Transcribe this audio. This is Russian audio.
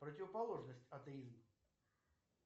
противоположность атеизм